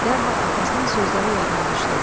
Dərhal atasının sözləri yadına düşdü.